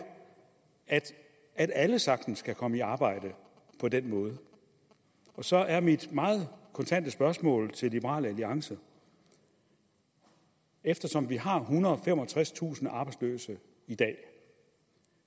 at alle sagtens kan komme i arbejde på den måde og så er mit meget kontante spørgsmål til liberal alliance eftersom vi har ethundrede og femogtredstusind arbejdsløse i dag